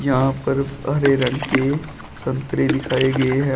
यहां पर हरे रंग के संतरे दिखाए गए हैं।